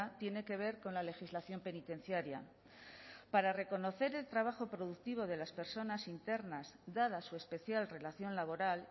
tiene que ver con la legislación penitenciaria para reconocer el trabajo productivo de las personas internas dada su especial relación laboral